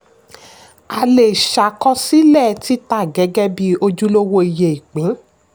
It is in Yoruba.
a lè ṣàkósílẹ̀ títà gẹ́gẹ́ bí ojúlówó iye ìpín.